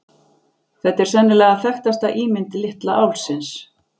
Þetta er sennilega þekktasta ímynd litla álfsins.